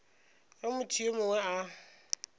ge motho yo mongwe a